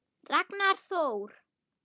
Ragnar Þór.